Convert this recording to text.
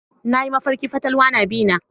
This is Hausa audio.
Nayi mafarkin fatalwa na bi na.